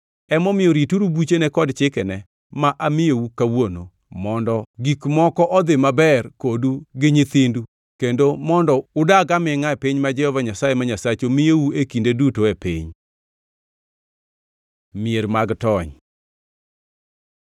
Emomiyo rituru buchene kod chikene ma amiyou kawuono, mondo gik moko odhi maber kodu gi nyithindu kendo mondo udag amingʼa e piny ma Jehova Nyasaye ma Nyasachu miyou e kinde duto e piny. Mier mag tony